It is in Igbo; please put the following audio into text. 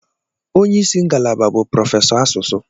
Onye isi ngalaba bụ prọfesọ asụsụ.